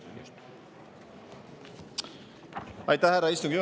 Aitäh, härra istungi juhataja!